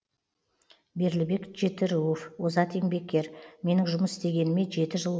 берлібек жетіруов озат еңбеккер менің жұмыс істегеніме жеті жыл